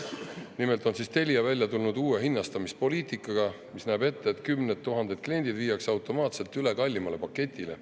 Nimelt on Telia välja tulnud uue hinnastamispoliitikaga, mis näeb ette, et kümned tuhanded kliendid viiakse automaatselt üle kallimale paketile.